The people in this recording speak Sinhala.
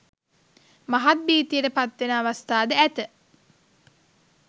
මහත් භීතියට පත්වෙන අවස්ථාද ඇත